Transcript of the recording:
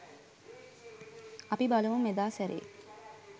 අපි බලමු මෙදා සැරේ